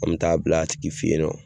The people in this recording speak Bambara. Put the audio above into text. An mɛ taa bila a tigi fɛ ye nɔ.